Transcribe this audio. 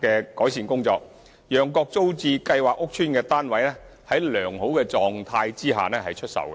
的改善工作，讓各租置計劃屋邨的單位在良好狀況下出售。